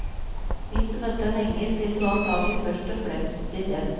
Hvis du møtte en engel, ville du antagelig først og fremst bli redd.